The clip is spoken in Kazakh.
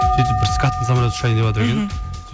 сөйтіп бір скаттың самолеты ұшайын деватыр екен мхм